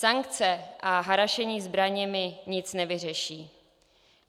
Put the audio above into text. Sankce a harašení zbraněmi nic nevyřeší.